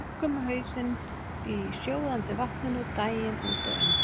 Þú liggur með hausinn í sjóðandi vatninu daginn út og inn.